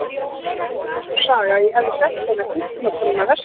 Það var búin til sú saga að ég hefði sent eina hjúkrunarkonuna vestur.